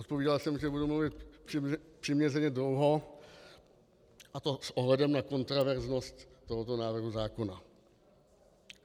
Odpovídal jsem, že budu mluvit přiměřeně dlouho, a to s ohledem na kontroverznost tohoto návrhu zákona.